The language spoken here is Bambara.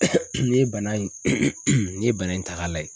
N'i ye bana in n'i ye bana in ta k'a lajɛ.